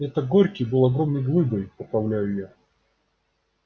это горький был огромной глыбой поправляю его я